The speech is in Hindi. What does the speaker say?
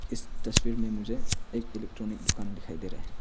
इस तस्वीर में मुझे एक इलेक्ट्रॉनिक दुकान दिखाई दे रहे हैं।